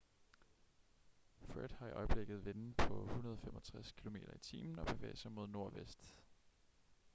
fred har i øjeblikket vinde på 165 km/t og bevæger sig mod nordvest